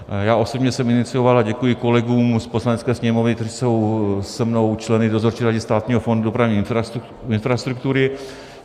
Já osobně jsem inicioval, a děkuji kolegům z Poslanecké sněmovny, kteří jsou se mnou členy Dozorčí rady Státního fondu dopravní infrastruktury.